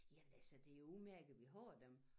Jamen altså det jo udmærket vi har dem